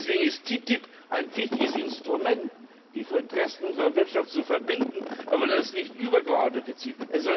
Deswegen ist TTIP ein wichtiges Instrument, um die Interessen unserer Wirtschaft zu verbinden, aber das ist nicht das übergeordnete Ziel.